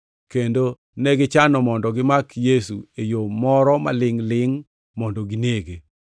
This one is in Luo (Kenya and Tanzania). kendo negichano mondo gimak Yesu e yo moro malingʼ-lingʼ mondo ginege.